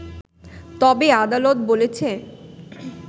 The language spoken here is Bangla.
তবে আদালত বলেছে